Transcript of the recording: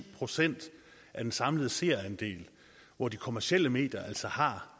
procent af den samlede seerandel og de kommercielle medier altså har